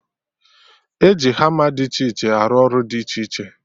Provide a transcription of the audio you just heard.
E ji hama dị iche iche arụ ọrụ dị iche iche